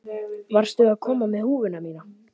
Varstu að koma með húfuna mína?